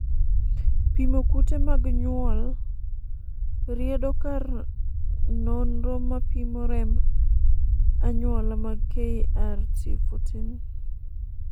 pimo kute mag nyuol riedo kar nonro mapimo remb anyuola mag KRT14